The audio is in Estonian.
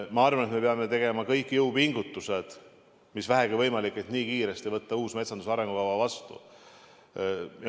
Ma arvan, et me peame tegema kõik jõupingutused, mis vähegi on võimalikud, et kiiresti võtta uus metsanduse arengukava vastu.